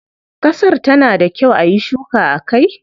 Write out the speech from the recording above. Kasar ta na da kyau ayi shuka a kai?